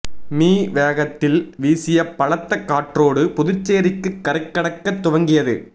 me வேகத்தில் வீசிய பலத்த காற்றோடு புதுச்சேரிக்கு கரை கடக்க துவங்கியது